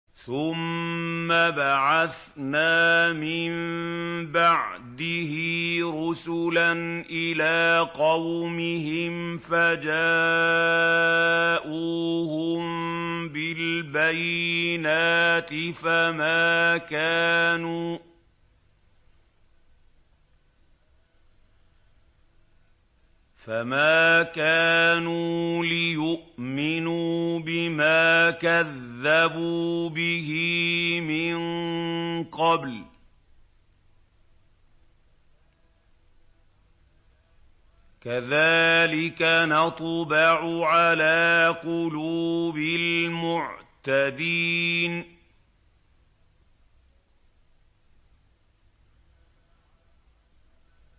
ثُمَّ بَعَثْنَا مِن بَعْدِهِ رُسُلًا إِلَىٰ قَوْمِهِمْ فَجَاءُوهُم بِالْبَيِّنَاتِ فَمَا كَانُوا لِيُؤْمِنُوا بِمَا كَذَّبُوا بِهِ مِن قَبْلُ ۚ كَذَٰلِكَ نَطْبَعُ عَلَىٰ قُلُوبِ الْمُعْتَدِينَ